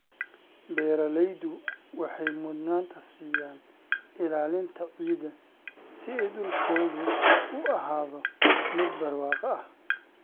Beeraleydu waxay mudnaanta siiyaan ilaalinta ciidda si ay dhulkoodu u ahaado mid barwaaqo ah.